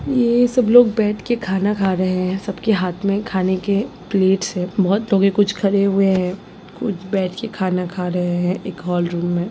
यह सब लोग बैठ के खाना खा रहे है सब के हाथ में खाने के प्लेट्स हैं बहुत लोग कुछ खड़े हुए है कुछ बैठ के खाना खा रहे हैं एक हॉल रूम में।